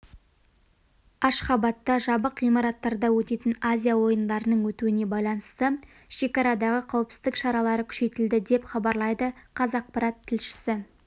ашхабатта жабық ғимараттарда өтетін азия ойындарының өтуіне байланысты шекарадағы қауіпсіздік шаралары күшейтілді деп хабарлайды қазақпарат тілшісі